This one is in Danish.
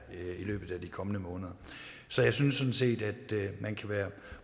i løbet af de kommende måneder så jeg synes sådan set at man kan være